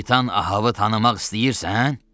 Kapitan Ahavı tanımaq istəyirsən?